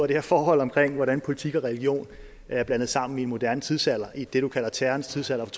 det her forhold omkring hvordan politik og religion er blandet sammen i en moderne tidsalder i det du kalder terrorens tidsalder